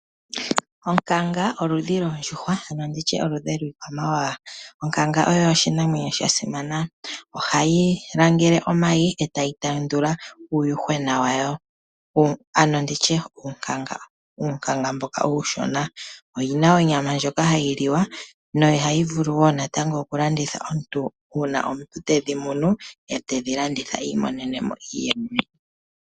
Onkanga oludhi lwoondjuhwa, ano oludhi lwiikwamawa. Onkanga oyo oshinamwenyo sha simana. Ohayi langele omayi e tayi tendula uunkangona wayo. Oyi na onyama ndjoka hayi liwa nohayi vulu wo okulandithwa, uuna omuntu tedhi munu e tedhi landitha i imonene mo iiyemo.